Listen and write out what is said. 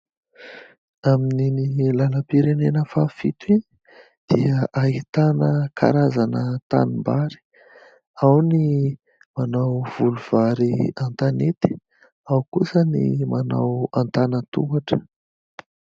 Amin'iny lalam-pirenena fahafito iny dia ahitana karazana tanimbary. Ao ny manao voly vary an-tanety, ao kosa ny manao antanan-tohatra.